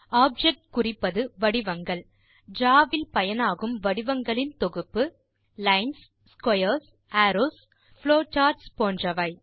object குறிப்பது வடிவங்கள் draw வில் பயனாகும் வடிவங்களின் தொகுப்பு லைன்ஸ் ஸ்க்வேர்ஸ் அரோவ்ஸ் புளோசார்ட்ஸ் போன்றன